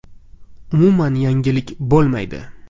Umuman yangilik bo‘lmaydi.